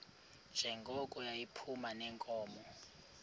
njengoko yayiphuma neenkomo